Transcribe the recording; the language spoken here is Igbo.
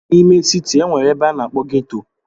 N'ime siti, e nwere ebe a na-akpọ ghetto.